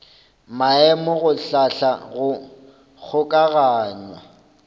maemo go hlahla go kgokaganya